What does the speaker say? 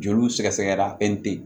Joliw sɛgɛsɛgɛra fɛn tɛ ye